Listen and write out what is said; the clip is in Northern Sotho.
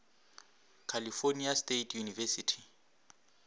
california state university